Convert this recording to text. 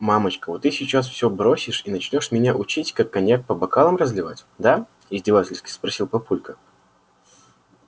мамочка вот ты сейчас всё бросишь и начнёшь меня учить как коньяк по бокалам разливать да издевательски спросил папулька